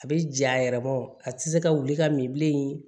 A bɛ ja yɛrɛ bɔ a tɛ se ka wuli ka min bilen